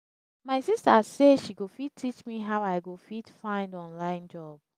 my sista sey she go teach me how i go fit find online job.